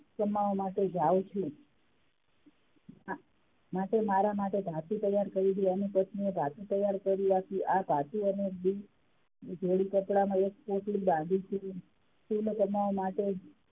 કમાવા માટે જાવ છું માટે મારા માટે ભાથું તૈયાર કરી દે, માટે એની પત્ની એ ભાથું તૈયાર કરી રાખ્યું આ ભાથું અને બે જોડી કપડાં નો એક પોટલી બાંધી શિવલો કમાવા માટે,